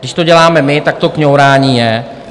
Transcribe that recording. Když to děláme my, tak to kňourání je.